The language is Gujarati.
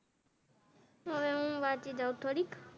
હવે હું વાંચી દાવ થોડીક